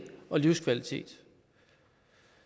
og livskvalitet